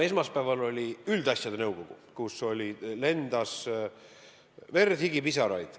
Esmaspäeval oli üldasjade nõukogu istung, kus lendas verd, higi, pisaraid.